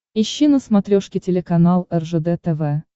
ищи на смотрешке телеканал ржд тв